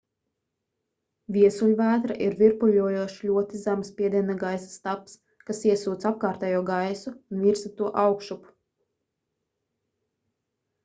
viesuļvētra ir virpuļojošs ļoti zema spiediena gaisa stabs kas iesūc apkārtējo gaisu un virza to augšup